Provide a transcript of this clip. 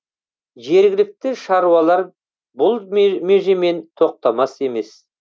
жергілікті шаруалар бұл межемен тоқтамас емес